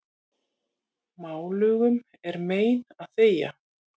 Málugum er mein að þegja.